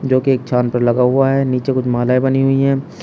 जो की एक छान पर लगा हुआ है नीचे कुछ मालाए बनी हुई है।